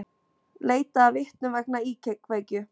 Leitað að vitnum vegna íkveikju